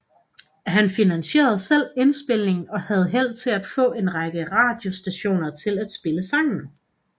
Han finansierede selv indspilningen og havde held til at få en række radiostationer til at spille sangen